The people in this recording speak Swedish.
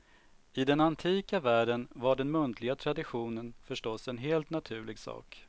I den antika världen var den muntliga traditionen förstås en helt naturlig sak.